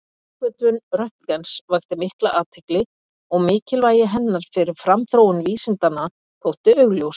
Uppgötvun Röntgens vakti mikla athygli og mikilvægi hennar fyrir framþróun vísindanna þótti augljóst.